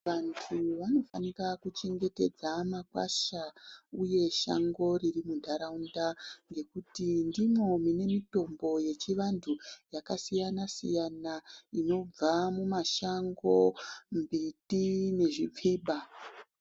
Vanhu vanofanika kuchengetedza makwasha uye shango riri muntaraunda ngekuti ndimwo mune mitombo yechivantu yakasiyana-siyana inobva mumashango, mbiti nezvipfiba.